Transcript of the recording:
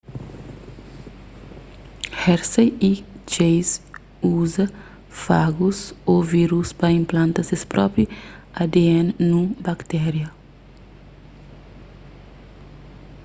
hershey y chase uza fagus ô vírus pa inplanta ses própi adn nun baktéria